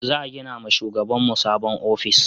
Za gina ma shugaban mu sabon ofis